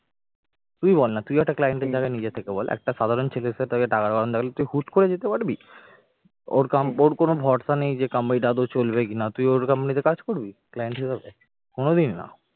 তুই বলনা তুই একটা client এর জায়গায় নিজে থেকে বল একটা সাধারণ ছেলে এসে তাকে টাকার গরম দেখালে হুট করে যেতে পারবি ওর কম ওর কোন ভরসা নেই যে company টা আদৌ চলবে কিনা তুই ওর company তে কাজ করবি client হিসাবে, কোনদিন না।